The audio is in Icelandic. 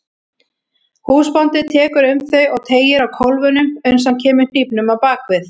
Húsbóndinn tekur um þau og teygir á kólfunum uns hann kemur hnífnum á bak við.